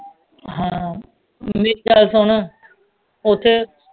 ਹਾਂ ਵੀ ਚੱਲ ਹੁਣ ਓਥੇ